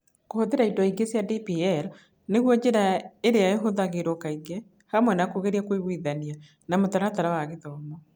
Kũhũthĩra indo ingĩ cia DPL nĩguo njĩra ĩrĩa ĩhũthagĩrũo kaingĩ, hamwe na kũgeria kũiguithania na mũtaratara wa gĩthomo.